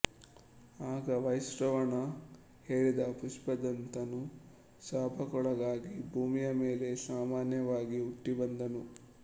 ಆಗ ವೈಶ್ರವಣ ಹೇಳಿದ ಪುಷ್ಪದಂತನು ಶಾಪಕ್ಕೊಳಗಾಗಿ ಭೂಮಿಯ ಮೇಲೆ ಸಾಮಾನ್ಯವಾಗಿ ಹುಟ್ಟಿಬಂದನು